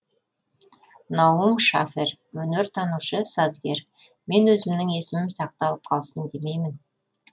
наум шафер өнертанушы сазгер мен өзімнің есімім сақталып қалсын демеймін